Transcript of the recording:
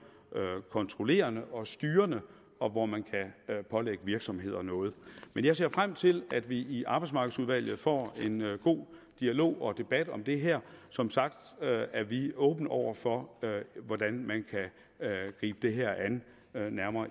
kontrollerende og styrende og hvor man kan pålægge virksomhederne noget men jeg ser frem til at vi i arbejdsmarkedsudvalget får en god dialog og debat om det her som sagt er vi åbne over for hvordan man kan gribe det her an